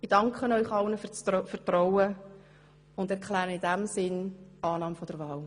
Ich danke Ihnen allen für das Vertrauen und erkläre in diesem Sinne die Annahme der Wahl.